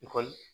Ekɔli